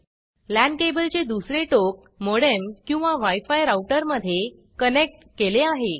लान cableल्यान केबल चे दुसरे टोक मोडेम किंवा wi फी राऊटर मध्ये कनेक्ट केले आहे